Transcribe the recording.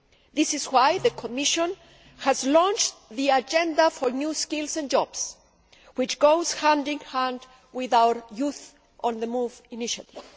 This is why the Commission has launched the Agenda for New Skills and Jobs, which goes hand in hand with our Youth on the Move initiative.